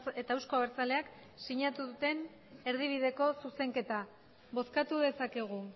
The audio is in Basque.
eta euzko abertzaleak sinatu duten erdibideko zuzenketa bozkatu dezakegu